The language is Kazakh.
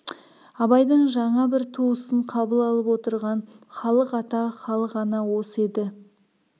абайдың жаңа бір туысын қабыл алып отырған халық ата халық ана осы еді